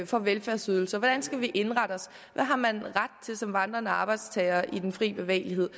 for velfærdsydelser hvordan skal vi indrette os hvad har man ret til som vandrende arbejdstager med den frie bevægelighed